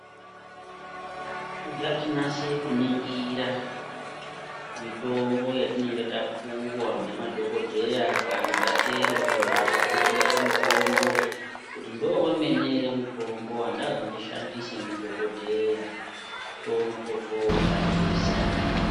Ngatinase kuningira mitombo yatinenge tapuwa ngemadhokodheya kana tatenga kumhatso dzinotengeswe mitombo kuti ndiwo wemene ere wandapuwa nadhokodheya kuti ndione kushandisa.